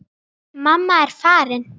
Mamma er farin.